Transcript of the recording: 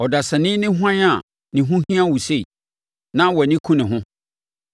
“Ɔdasani ne hwan a ne ho hia wo sei, na wʼani ku ne ho,